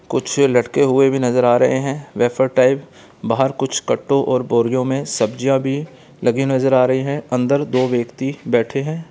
कुछ लटके हुए भी नजर आ रहे है वैफर टाइप बाहर कुछ कट्टों और बोरियों में सब्जियाँ भी लगी नजर आ रही हैं अंदर दो व्यक्ति बैठे हैं।